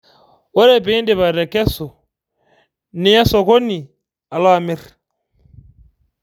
Ore piidip atekesu niya sokoni Alo amir